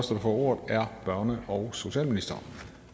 ordet er børne og socialministeren